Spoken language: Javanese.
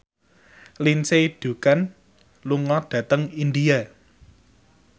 Lindsay Ducan lunga dhateng India